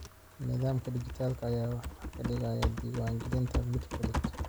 Nidaamka dhijitaalka ah ayaa ka dhigaya diiwaangelinta mid fudud.